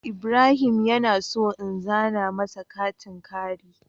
Ibrahim yana so in zana masa katin kari.